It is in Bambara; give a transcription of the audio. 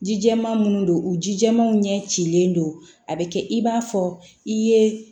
Ji jɛman minnu don u ji jɛman ɲɛ cilen don a bɛ kɛ i b'a fɔ i ye